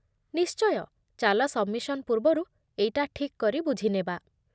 ନିଶ୍ଚୟ, ଚାଲ ସବ୍‌ମିସନ୍ ପୂର୍ବରୁ ଏଇଟା ଠିକ୍ କରି ବୁଝି ନେବା ।